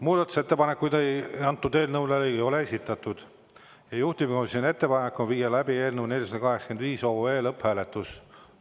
Muudatusettepanekuid eelnõu kohta ei ole esitatud ja juhtivkomisjoni ettepanek on viia läbi eelnõu 485 lõpphääletus.